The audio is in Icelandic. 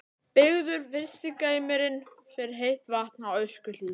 Byggður fyrsti geymirinn fyrir heitt vatn á Öskjuhlíð.